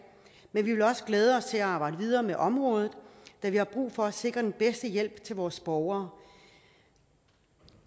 men vi vil også glæde os til at arbejde videre med området da vi har brug for at sikre den bedste hjælp til vores borgere